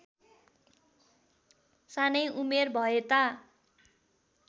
सानै उमेर भएता